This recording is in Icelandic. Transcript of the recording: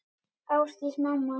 Ásdís mamma.